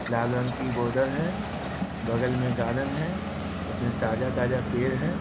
लाल रंग की बोतल है। बगल में गार्डन है उसमे ताज़ा-ताज़ा पेड़ है।